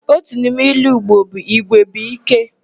Otu n'ime ilu Igbo bụ 'Igwe bụ íké'.